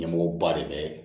Ɲɛmɔgɔba de bɛ